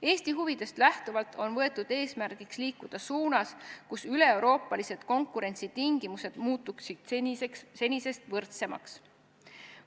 Eesti huvidest lähtuvalt on võetud eesmärgiks liikuda selles suunas, et üleeuroopalised konkurentsitingimused muutuksid senisest võrdsemaks.